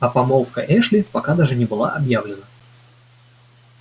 а помолвка эшли пока даже не была объявлена